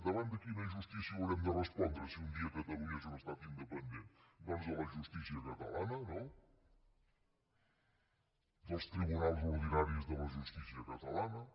davant de quina justícia haurem de respondre si un dia catalunya és un estat independent doncs de la justícia catalana no dels tribunals ordinaris de la justícia catalana